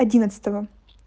одиннадцатого